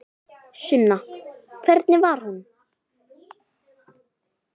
Sunna: Hvernig var hún?